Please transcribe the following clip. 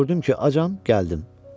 Gördüm ki, acam, gəldim.